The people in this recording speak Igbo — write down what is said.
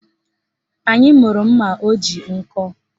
Anyị mụrụ mma o ji nkọ